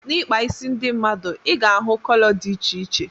N'ikpa ịsị ndị mmadụ ị ga-ahụ kọlọ dị iche iche.